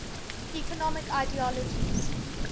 economic ideologies